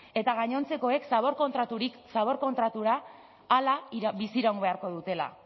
eta gainontzekoek zabor kontratutik zabor kontratura hala biziraun beharko dutela